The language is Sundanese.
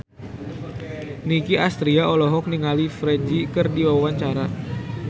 Nicky Astria olohok ningali Ferdge keur diwawancara